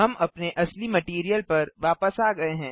हम अपने असली मटैरियल पर वापस आ गये हैं